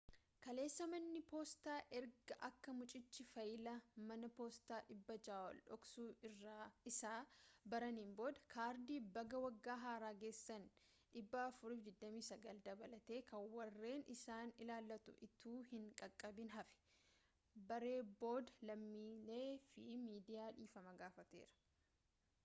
kaleessa manni poostaa ergaa akka muciichi faayilaa mana poostaa 600 ol dhoksuu isaa baraanin booda kardii baga waggaa haaraa geessanii 429 dabalatee kan warreen isaan ilaallatu ituu hin qaqqabiin hafe baree booda lammiilee fi miidiyaa dhiifama gaafateera